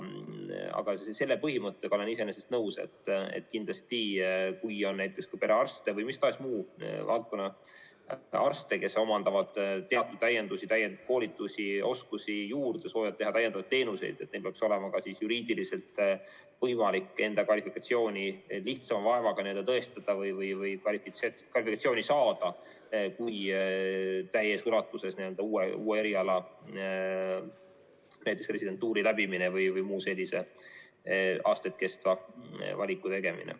Aga selle põhimõttega olen iseenesest nõus, et kindlasti, kui on näiteks ka perearste või mis tahes muu valdkonna arste, kes omandavad täienduskoolitustel oskusi juurde, soovivad pakkuda täiendavaid teenuseid, siis neil peaks olema ka juriidiliselt võimalik enda kvalifikatsiooni tõestada või kvalifikatsiooni saada lihtsama vaevaga kui täies ulatuses uue eriala residentuuri läbimine või muu selline aastaid kestev valik.